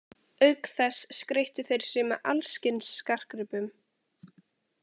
Auk þess skreyttu þeir sig með alls kyns skartgripum.